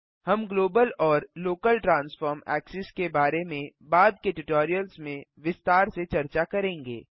हम ग्लोबल और local transform axis के बारे में बाद के ट्यूटोरियल्स में विस्तार से चर्चा करेंगे